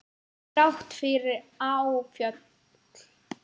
Þrátt fyrir áföll.